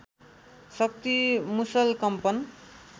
शक्ति मुसल कम्पन